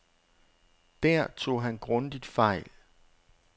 Der tog han grundigt fejl.